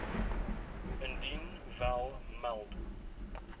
indien wel meld